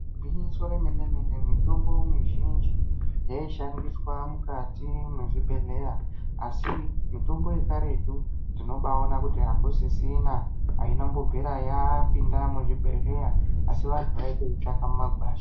Gwinyiso remene mene mitombo mizhinji yaishandiswa mukati mezvibhedhlera asi mitombo yekarutu tinobaona kuti akusisina aina kumbobvira yapinda muzvibhedhlera asi vantu vaitoitsvaka mumakwasha.